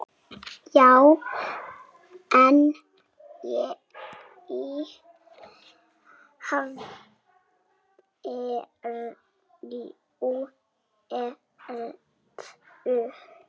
Já en í hverju ertu?